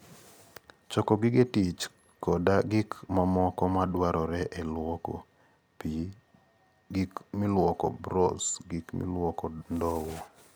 Choko gige tich koda gik mamoko madwarore e lwoko: pi, gik milwoko, brosh, gik milwoko, ndowo.